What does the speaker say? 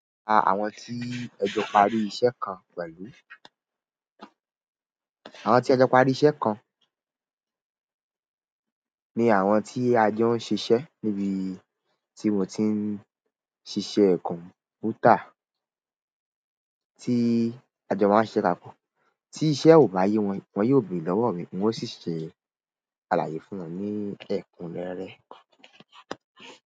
Àwọn tí ẹ jọ parí iṣẹ́ kan pẹ̀lú. Àwọn tí ẹjọ parí iṣẹ́ kan ni àwọn tí a jọ ń ṣiṣẹ́ níbi tí mò ń ti ń ṣiṣẹ́ kọ̀m̀pútà tí a jọ máa ń ṣiṣẹ́ papọ̀. Tí iṣẹ́ ò bá yé wọn, wọ́n yóò bèèrè lọ́wọ́ mi, n ó sì ṣe àlàyé fún wọn ní ẹ̀kúnrẹ́rẹ́.